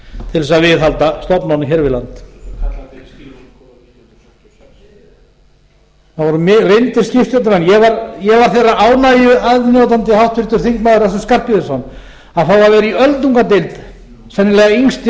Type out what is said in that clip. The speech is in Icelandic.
til að viðhalda stofnunum hér við land það voru reyndir skipstjórnarmenn ég var þeirrar ánægju aðnjótandi háttvirtur þingmaður össur skarphéðinsson að fá að vera í öldungadeild sennilega